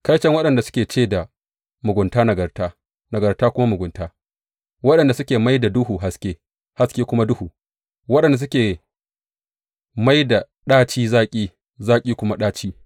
Kaiton waɗanda suke ce da mugunta nagarta nagarta kuma mugunta, waɗanda suke mai da duhu haske haske kuma duhu, waɗanda suke mai da ɗaci zaƙi zaƙi kuma ɗaci.